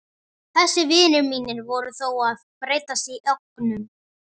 Þessir vinir mínir voru þó að breytast í ógnun.